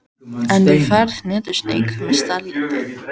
En þú færð hnetusteik með salati.